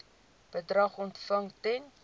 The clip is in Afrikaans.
bedrag ontvang ten